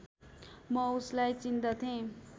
म उसलाई चिन्दथेँ